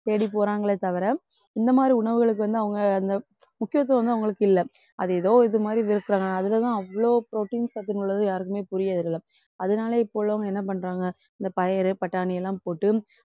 தேடி போறாங்களே தவிர இந்த மாதிரி உணவுகளுக்கு வந்து அவங்க அந்த முக்கியத்துவம் வந்து அவங்களுக்கு இல்லை. அது ஏதோ இது மாதிரி பேசுறாங்க அதுலதான் அவ்ளோ protein சத்துன்னு உள்ளது யாருக்குமே புரியறதில்லை அதனால இப்ப உள்ளவங்க என்ன பண்றாங்க இந்த பயறு, பட்டாணி எல்லாம் போட்டு